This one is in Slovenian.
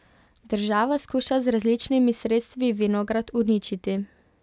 Država skuša z različnimi sredstvi Vinograd uničiti.